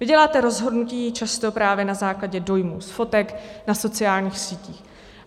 Vy děláte rozhodnutí často právě na základě dojmů z fotek na sociálních sítích.